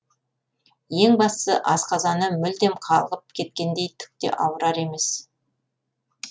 ең бастысы асқазаны мүлдем қалғып кеткендей түк те ауырар емес